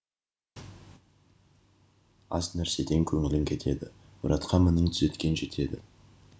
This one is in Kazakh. аз нәрседен көңілің кетеді мұратқа мінін түзеткен жетеді